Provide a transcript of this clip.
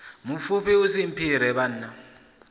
mupfufhi u si mphire vhanna